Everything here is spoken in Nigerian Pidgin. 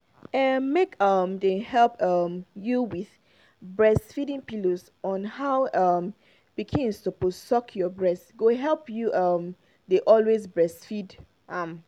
ah make um dem help um you with breastfeeding pillows on how your um pikin suppose suck your breast go help you um dey always breastfeed am